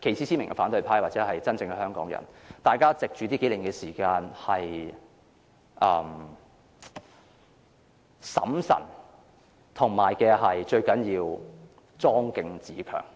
旗幟鮮明的反對派或真正的香港人藉這幾年時間，要審慎和莊敬自強。